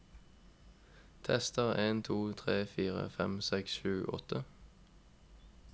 Tester en to tre fire fem seks sju åtte